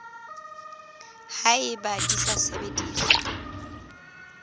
ha eba di sa sebediswe